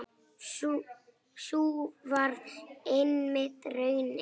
Sú varð einmitt raunin.